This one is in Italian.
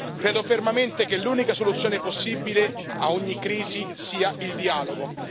Credo fermamente che l'unica soluzione possibile a ogni crisi sia il dialogo.